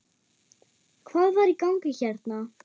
Hvað var í gangi hérna?